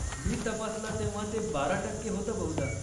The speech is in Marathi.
मी तपासला तेव्हा ते बारा टक्के होतं बहुधा.